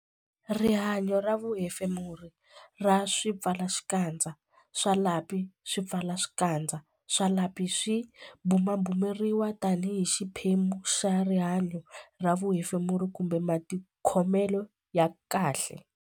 Rihanyo ra vuhefemuri ra swipfalaxikandza swa lapi Swipfalaxikandza swa lapi swi bumabumeriwa tanihi xiphemu xa rihanyo ra vuhefemuri kumbe matikhomelo ya kahle.